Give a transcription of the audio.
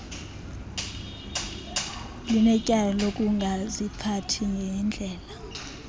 linetyala lokungaziphathi ngenndlela